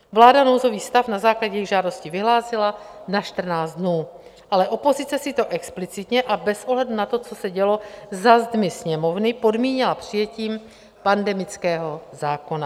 Vláda nouzový stav na základě jejich žádosti vyhlásila na 14 dnů, ale opozice si to explicitně a bez ohledu na to, co se dělo za zdmi Sněmovny, podmínila přijetím pandemického zákona.